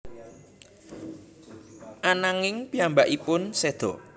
Ananging piyambakipun seda